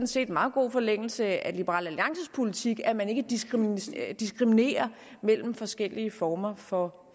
set i meget god forlængelse af liberal alliances politik at man ikke diskriminerer diskriminerer mellem forskellige former for